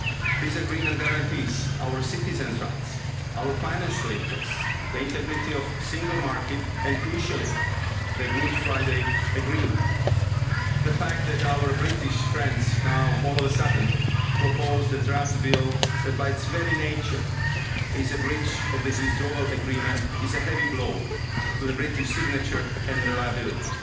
This Agreement guarantees our citizens' rights, our financial interests, the integrity of the single market and crucially the Good Friday Agreement. The fact that our British friends now, all of a sudden, propose the draft bill that, by its very nature, is a breach of this Withdrawal Agreement is a heavy blow to the British signature and reliability.